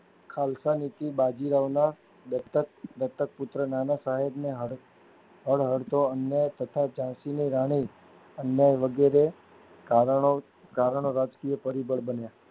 ખાલસા નીતિ બાજીરાવના દત્તક દત્તક પુત્ર નાના સાહેબના હદ હળ હળતો અન્યાય તથા ઝાંસીની રાણી અન્યાય વગેરે કારણો કારણો રાજકીય પરિબળ બન્યા